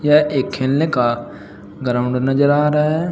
यह एक खेलने का ग्राउंड नजर आ रहा है।